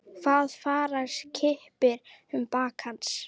Það fara kippir um bak hans.